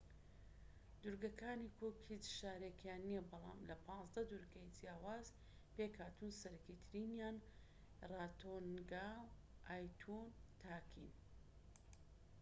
دوورگەکانی کوک هیچ شارێکیان نیە بەڵام لە 15 دوورگەی جیاواز پێکهاتوون سەرەكی ترینیان ڕارۆتۆنگا و ئایتوتاکین